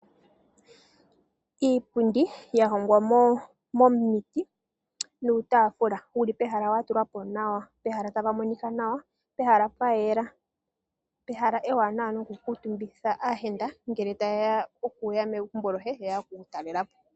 Iipundi ya hongwa momiti nutaafula wuli pehala wa tulwa po nawa pehala ta pa monika nawa, pehala pa yela. Pehala ewanawa no ku kuutumbitha aayenda ngele ta yeya, okuya megumbo loye ye ya oku ku talelepo.